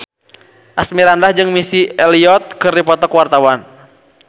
Asmirandah jeung Missy Elliott keur dipoto ku wartawan